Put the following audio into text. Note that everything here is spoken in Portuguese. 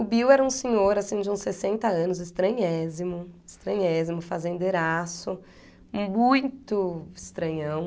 O Bill era um senhor de uns sessenta anos, estranhésimo, estranhésimo, fazendeiraço, e muito estranhão.